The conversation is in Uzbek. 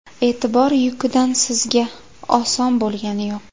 E’tibor yukidan sizga oson bo‘lgani yo‘q!